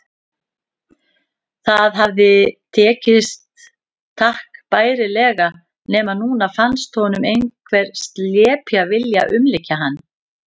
Það hafði tekist takk bærilega, nema núna fannst honum einhver slepja vilja umlykja hann.